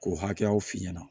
K'o hakɛyaw f'i ɲɛna